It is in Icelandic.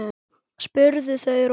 spurðu þau Róbert.